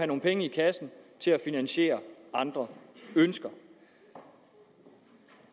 nogle penge i kassen til at finansiere andre ønsker